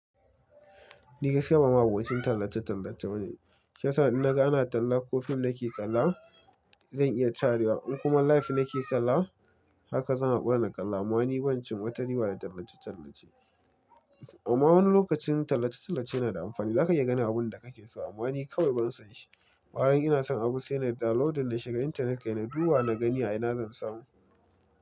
Ni gaskiya ba ma'abocin tallace-tallace bane. Shiyasa, idan na ga ana talla ko fim nake kala, zan iya carewa. In kuma live nake kala, haka zan hakura na kala. Amma ni ban cin wa tari ba da tallace-tallace. Amma wani lokacin tallace-tallace yana da amfani. Za ka iya gane abun da kake so. Amma ni kawai ban san shi. Farin ina son abu sai na downloading na shiga intanet kai na, duba na gani a ina zan samu.